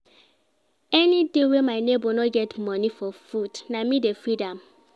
Anyday wey my nebor no get moni for food, na me dey feed am.